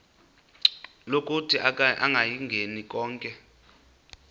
lokuthi akayingeni konke